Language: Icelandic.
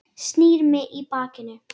Snýr í mig bakinu.